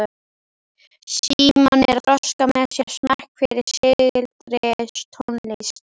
Símon er að þroska með sér smekk fyrir sígildri tónlist.